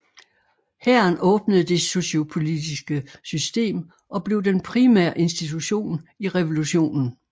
Hæren åbnede det sociopolitiske system og blev den primære institution i revolutionen